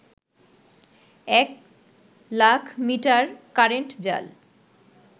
এক লাখমিটার কারেন্ট জাল